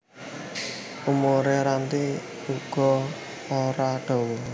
Umure Ranti uga ora dawa